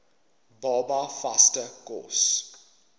baba vaste kos